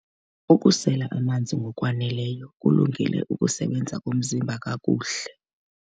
Ukusela amanzi ngokwaneleyo kulungele ukusebenza komzimba kakuhle.